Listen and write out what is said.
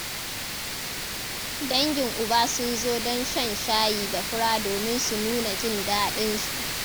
Dangin uba sun zo don shan shayi da fura domin su nuna jin daɗinsu.